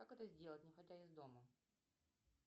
как это сделать не выходя из дома